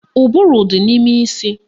Ụbụrụ dị n'ime isi